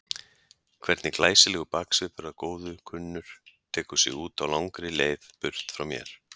Hvernig glæsilegur baksvipur að góðu kunnur tekur sig út á langri leið burt frá mér.